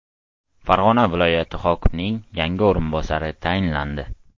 Farg‘ona viloyati hokimining yangi o‘rinbosari tayinlandi.